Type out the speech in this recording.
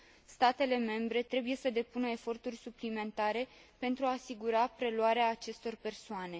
Statele membre trebuie să depună eforturi suplimentare pentru a asigura preluarea acestor persoane.